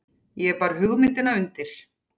Ég bar hugmynd undir